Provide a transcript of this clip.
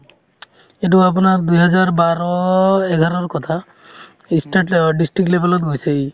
এইটো আপোনাৰ দুহাজাৰ বাৰ এঘাৰৰ কথা ই state level অ district level ত গৈছে ই